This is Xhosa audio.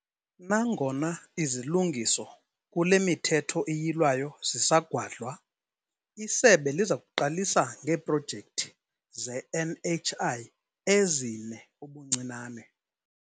Nangona izilungiso kule miThetho iYilwayo zisagwadlwa, isebe liza kuqalisa ngeeprojekthi ze-NHI ezine ubuncinane.